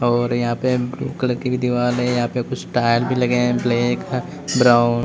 और यहां पे ब्लू कलर की भी दीवार है यहां पे कुछ टायर भी लगे हैं ब्लैक है ब्राउन --